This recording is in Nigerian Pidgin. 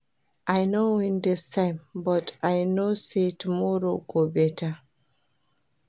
I no win dis time but I know say tomorrow go beta